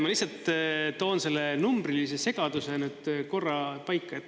Ma lihtsalt toon selle numbrilise segaduse korra paika.